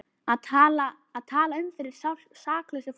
Að tala um fyrir saklausu fólki